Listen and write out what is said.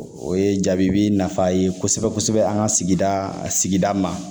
O ye jaabi bi nafa ye kosɛbɛ kosɛbɛ an ka sigida sigida ma